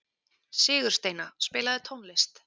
Sigursteina, spilaðu tónlist.